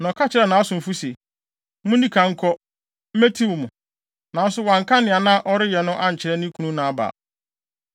Na ɔka kyerɛɛ nʼasomfo se, “Munni kan nkɔ. Metiw mo.” Nanso wanka nea na ɔreyɛ no ankyerɛ ne kunu Nabal.